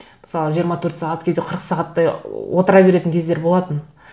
мысалы жиырма төрт сағат кейде қырық сағаттай отыра беретін кездер болатын